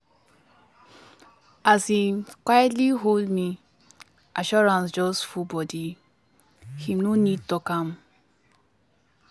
as him quitely hold me assurance just full body him no need talk am.